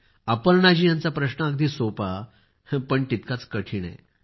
अपर्णा जी यांचा प्रश्न अगदी सोपा पण तितकाच कठीण आहे